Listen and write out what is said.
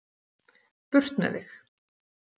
Burt með þig.